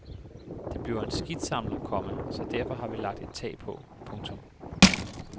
Det bliver en skidtsamler, komma så derfor har vi lagt et tag på. punktum